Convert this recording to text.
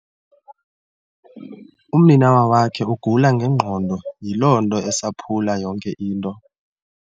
Umninawa wakhe ugula ngengqondo, yiloo nto esaphula yonke into.